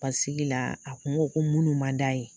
Basigi la a kun ko ko minnu man d'a ye